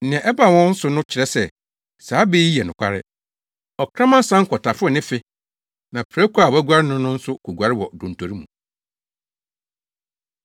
Nea ɛbaa wɔn so no kyerɛ sɛ, saa bɛ yi yɛ nokware. “Ɔkraman san kɔtaforo ne fe na prako a wɔaguare no no nso koguare wɔ dontori mu.”